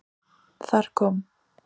Þar kom